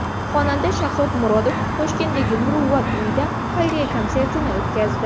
Xonanda Shahzod Murodov Toshkentdagi Muruvvat uyida xayriya konsertini o‘tkazdi.